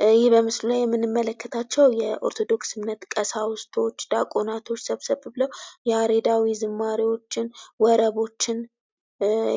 ይህ በምስሉ ላይ የምንመለከታቸው የኦርቶዶክስ እምነት ቀሳውስቶች፣ ዲያቆናቶች ሰብሰብ ብለው ያሬዳዊ ዝማሬዎችን፣ ወረቦችን